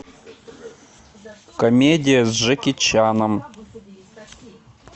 комедия с джеки чаном